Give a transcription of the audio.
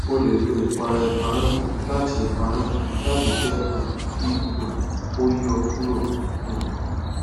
o le lo ipara heparin lati heparin lati jẹ um ki um o yọ kuro um